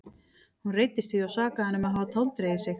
Hún reiddist því og sakaði hann um að hafa táldregið sig.